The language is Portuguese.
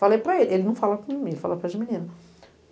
Falei para ele, ele não fala comigo, ele fala com as meninas.